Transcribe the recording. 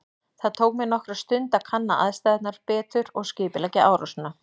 Það tók mig nokkra stund að kanna aðstæðurnar betur og skipuleggja árásina.